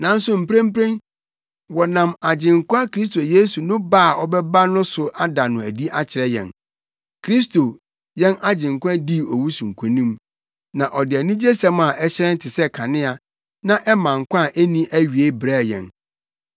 nanso mprempren wɔnam Agyenkwa Kristo Yesu no ba a ɔbɛba no so ada no adi akyerɛ yɛn. Kristo, yɛn Agyenkwa dii owu so nkonim, na ɔde anigyesɛm a ɛhyerɛn te sɛ kanea, na ɛma nkwa a enni awiei brɛɛ yɛn.